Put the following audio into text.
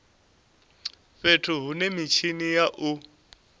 fhethu hune mitshini ya u